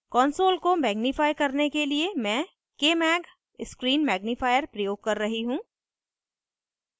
console को magnifier करने के लिए मैं kmag screen magnifier प्रयोग कर रही हूँ